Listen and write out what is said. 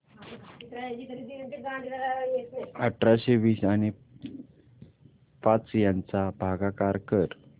अठराशे वीस आणि पाच यांचा भागाकार कर